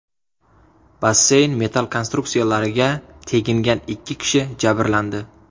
Basseyn metall konstruksiyalariga tegingan ikki kishi jabrlandi.